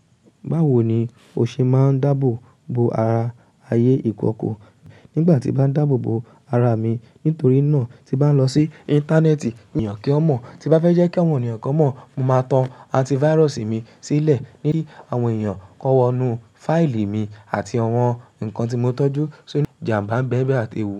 Báwo ni o ṣe máa ń dáàbò bo ara ayé ìkọ̀kọ̀? Nígbà tí mo bá ń dáàbò bo ara mi, nítorí náà tí bá lọ sí Íńtánẹ́ẹ̀tì, èèyàn kì í mọ̀. Tí bá fẹ́ jẹ́ kí àwọn ènìyàn kọ́ mọ̀, mo máa tan antívárọ̀sì mi sílẹ̀ kí àwọn èèyàn kọ wọ inú fáìlì mi àti àwọn nǹkan tí mo tọ́jú sọ́ jinà bá ń bẹ́bẹ́ àti ewu.